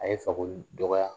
A ye Fakoli dɔgɔya